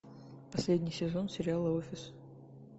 последний сезон сериала офис